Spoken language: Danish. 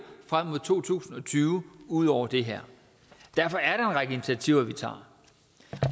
frem mod to tusind og tyve ud over det her derfor er en række initiativer vi tager